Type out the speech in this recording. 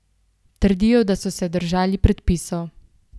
Trdijo, da so se držali predpisov.